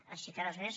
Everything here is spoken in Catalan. així que res més